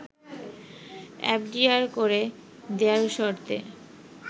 FDR করে দেয়ার শর্তে